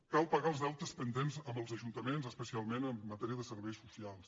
cal pagar els deutes pendents amb els ajuntaments especialment en matèria de serveis socials